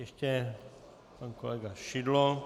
Ještě pan kolega Šidlo.